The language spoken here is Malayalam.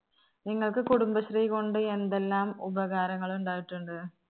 നിങ്ങൾക്ക് കുടുംബശ്രീ കൊണ്ട് എന്തെല്ലാം ഉപകാരങ്ങളുണ്ടായിട്ടുണ്ട്?